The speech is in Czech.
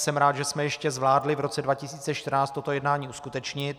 Jsem rád, že jsme ještě zvládli v roce 2014 toto jednání uskutečnit.